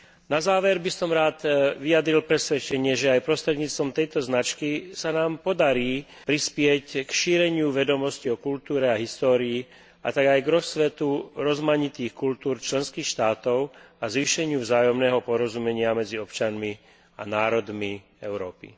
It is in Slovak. Na záver by som rád vyjadril presvedčenie, že aj prostredníctvom tejto značky sa nám podarí prispieť k šíreniu vedomostí o kultúre a histórii a tak aj k rozkvetu rozmanitých kultúr členských štátov a k zvýšeniu vzájomného porozumenia medzi občanmi a národmi Európy.